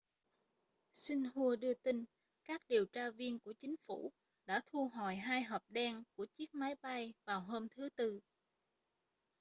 xinhua đưa tin các điều tra viên của chính phủ đã thu hồi hai hộp đen' của chiếc máy bay vào hôm thứ tư